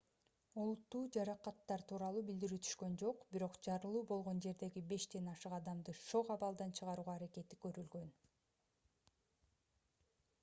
олуттуу жаракаттар тууралуу билдирүү түшкөн жок бирок жарылуу болгон жердеги бештен ашык адамды шок абалдан чыгаруу аракети көрүлгөн